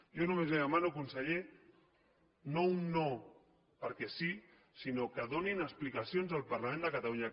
jo només li demano conseller no un no perquè sí sinó que donin explicacions al parlament de catalunya